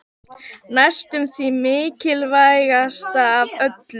Næstum því mikilvægast af öllu.